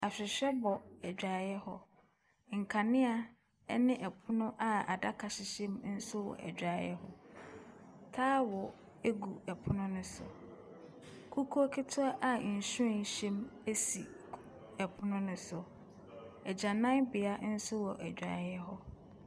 Ahwehwɛ bɔ adwareeɛ hɔ. Nkanea ne pono a adaka hyehyɛ mu nso wɔ adwareeɛ hɔ. Towel gu pono no so. Kukuo ketewa a nhwiren hyɛm si pɔno no so. Agyananbea nso wɔ adwareeɛ hɔ.